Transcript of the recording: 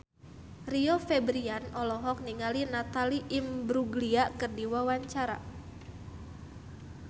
Rio Febrian olohok ningali Natalie Imbruglia keur diwawancara